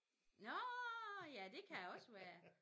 Nårh ja det kan også være